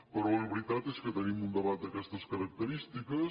però la veritat és que tenim un debat d’aquestes característiques